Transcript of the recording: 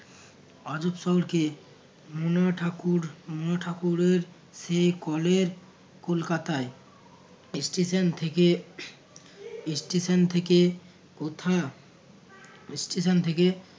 আজব শহরকে মনা ঠাকুর মনা ঠাকুরের সে কলের কলকাতায় station থেকে station থেকে কোথা station থেকে